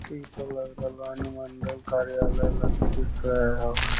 इ ता लग रहले अनुमंडल कार्यालय लखीसराय ह।